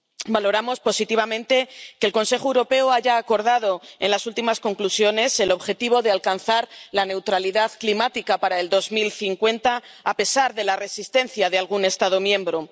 Valoramos positivamente que el Consejo Europeo haya acordado en las últimas conclusiones el objetivo de alcanzar la neutralidad climática para 2050, a pesar de la resistencia de algún Estado miembro.